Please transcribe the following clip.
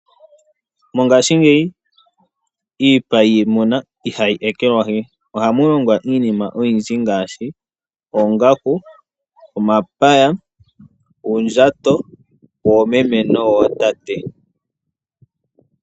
Mongashingeyi iipa yiimuna ihayi ekelwahi, ohamu longwa iinima oyindji ngaashi oongaku, omapaya, uundjato woomeme no wootate.